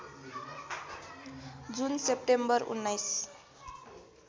जुन सेप्टेम्बर १९